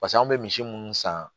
Pasa anw bɛ misi munnu san